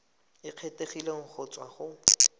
e kgethegileng go tswa go